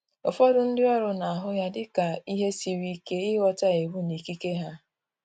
Ụfọdụ ndi oru na ahụ ya dị ka ihe siri ike ịghọta iwu na ikike ha